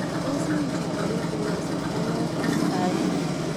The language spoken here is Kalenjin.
Tos me chito ne tinye kasarta notok kaikai